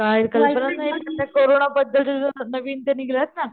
काही कल्पनाच नाही ते कोरोना बद्दल चे नवीन ते निघलेत ना